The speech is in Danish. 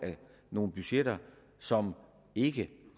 nogle budgetter som ikke